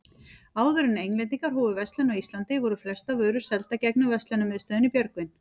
Áður en Englendingar hófu verslun á Íslandi, voru flestar vörur seldar gegnum verslunarmiðstöðina í Björgvin.